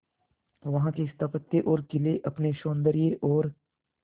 वहां के स्थापत्य और किले अपने सौंदर्य और